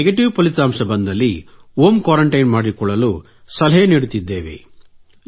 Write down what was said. negative ಫಲಿತಾಂಶ ಬಂದಲ್ಲಿ home quarantine ಮಾಡಿಕೊಳ್ಳಲು ಸಲಹೆ ನೀಡುತ್ತಿದ್ದೇವೆ